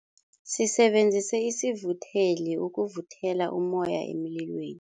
Sisebenzise isivutheli ukuvuthela ummoya emlilweni.